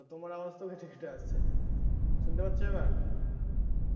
তো তোমার আওয়াজও তো কেটে কেটে আসছে শুনতে পাঁচ আবার